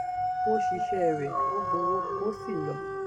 ó ṣiṣẹ́ rẹ̀ ó gbowó ó sì lọ